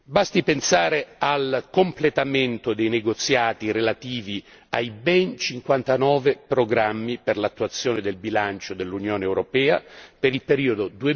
Basti pensare al completamento dei negoziati relativi ai ben cinquantanove programmi per l'attuazione del bilancio dell'Unione europea per il periodo